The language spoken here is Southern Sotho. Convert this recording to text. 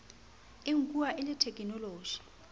e nkuwa e le thekenoloji